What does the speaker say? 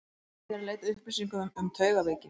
Ég er eð leita að upplýsingum um taugaveiki.